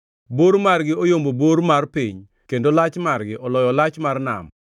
Bor margi oyombo bor mar piny kendo lach margi oloyo lach mar nam.